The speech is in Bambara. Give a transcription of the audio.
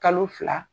Kalo fila